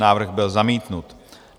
Návrh byl zamítnut.